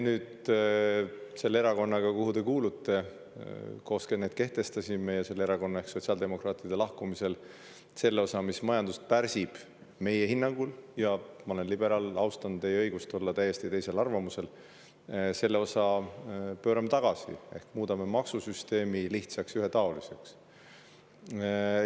Selle erakonnaga koos, kuhu te nüüd kuulute, me need kehtestasime ja pärast selle erakonna ehk sotsiaaldemokraatide lahkumist me selle osa, mis meie hinnangul majandust pärsib – ma olen liberaal, austan teie õigust olla täiesti teisel arvamusel –, pöörame tagasi ehk muudame maksusüsteemi lihtsaks ja ühetaoliseks.